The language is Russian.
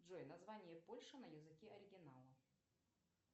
джой название польши на языке оригинала